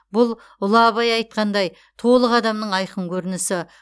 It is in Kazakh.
бұл ұлы абай айтқандай толық адамның айқын көрінісі